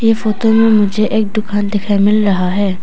Photo में मुझे एक दुकान दिखाई मिल रहा है।